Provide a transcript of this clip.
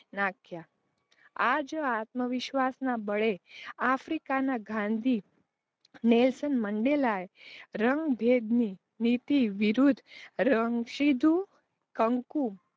નાખ્યાં. આજ, આત્મવિશ્વાસનાં બળે આફ્રિકાનાં ગાંધી નેલ્સન મંડેલાએ રણભેદની નીતિ વિરુદ્ધ કંકુ